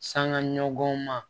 Sanŋa ɲɔgɔn ma